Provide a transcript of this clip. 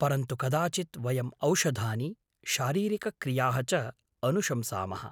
परन्तु कदाचित् वयम् औषधानि, शारीरिकक्रियाः च अनुशंसामः।